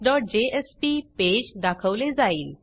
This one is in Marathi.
responseजेएसपी पेज दाखवले जाईल